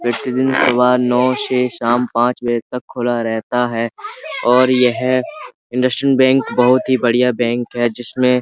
से शाम पांच बजे तक खुला रहता है और यह इंडसलेंड बैंक बोहोत ही बढ़िया बैंक है जिसमे--